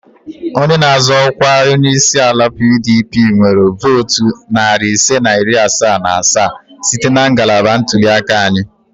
Onye na-azọ ọkwa onye isi ala PDP nwere votu narị ise na iri asaa na asaa site na ngalaba ntuli aka anyị